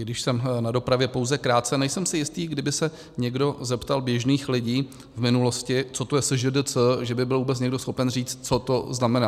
I když jsem na dopravě pouze krátce, nejsem si jistý, kdyby se někdo zeptal běžných lidí v minulosti, co to je SŽDC, že by byl vůbec někdo schopen říct, co to znamená.